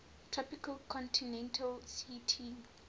tropical continental ct